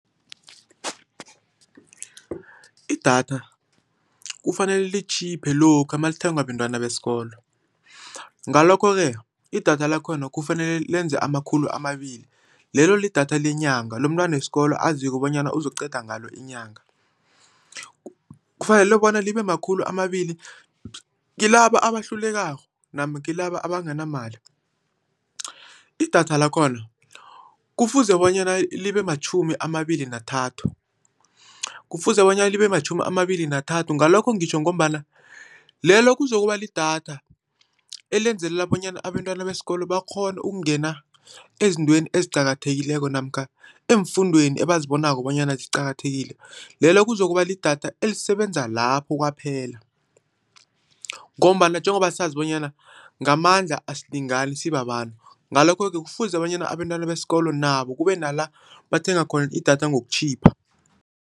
Idatha, kufanele litjhiphe lokha malithengwa bentwana besikolo. Ngalokho-ke, idatha lakhona kufanele lenze amakhulu amabili, lelo lidatha lenyanga, lomntwana wesikolo azikho bonyana uzokuqeda ngalo inyanga. Kufanele bona libemakhulu amabili, kilaba abahlulekako, namkha kilaba abanganamali. Idatha lakhona kufuze bonyana libe matjhumi amabili nathathu, kufuze bonyana libe matjhumi amabili nathathu, ngalokho ngitjho ngombana, lelo kuzokuba lidatha elenzelela bonyana abentwana besikolo bakghone ukungena ezintweni eziqakathekileko, namkha eemfundweni abazibonako bonyana ziqakathekile. Lelo kuzokuba lidatha elisebenza lapho kwaphela, ngombana njengobasazi bonyana ngamandla asilingani sibabantu. Ngalokho-ke, kufuze bonyana abentwana besikolo nabo, kubenala bathenga khona idatha ngokutjhipha.